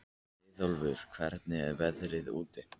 Leiðólfur, hvernig er veðrið úti?